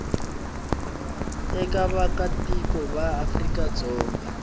eka vaakatiko va afrika dzonga